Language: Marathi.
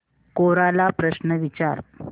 कोरा ला प्रश्न विचार